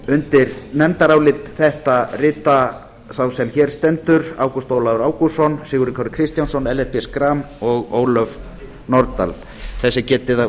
undir nefndarálit þetta rita sá sem hér stendur ágúst ólafur ágústsson sigurður kári kristjánsson ellert b schram og ólöf nordal þess er getið að